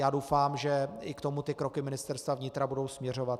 Já doufám, že i k tomu ty kroky Ministerstva vnitra budou směřovat.